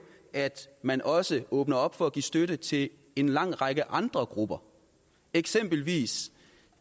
at man også åbner op for at give støtte til en lang række andre grupper eksempelvis